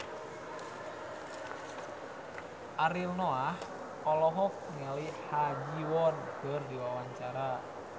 Ariel Noah olohok ningali Ha Ji Won keur diwawancara